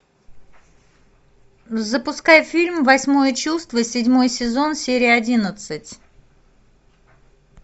запускай фильм восьмое чувство седьмой сезон серия одиннадцать